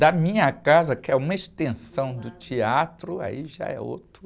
Da minha casa, que é uma extensão do teatro, aí já é outro.